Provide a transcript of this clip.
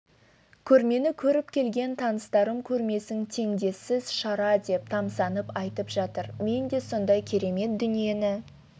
көрмені көріп келген таныстарым көрмесін теңдессіз шара деп тамсанып айтып жатыр мен де сондай керемет дүниені